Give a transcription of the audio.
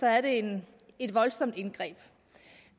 et voldsomt indgreb